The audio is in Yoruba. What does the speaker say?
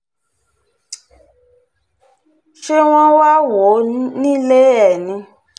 ṣé wọ́n wáá wò ó nílé ẹ ni